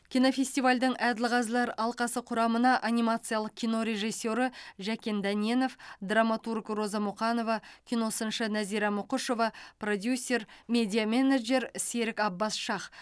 кинофестивальдің әділқазылар алқасы құрамына анимациялық кино режиссері жәкен дәненов драматург роза мұқанова киносыншы назира мұқышева продюсер медиа менеджер серік аббас шах